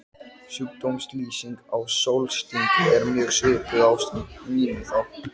Við gangaopið bíða forystumenn Landsvirkjunar, sýslunefndarmenn, blaðamenn og ljósmyndarar.